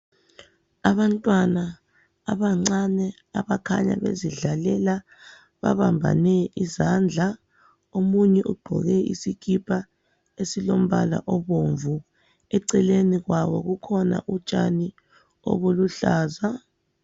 abantwana abancane abakhanya bezidlalela babambane izandla omunye ugqoke isikipa esilombala obomvu eceleni kwabo kukhona utshani obuluhlaza